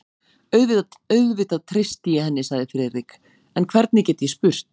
Auðvitað treysti ég henni sagði Friðrik, en hvernig get ég spurt?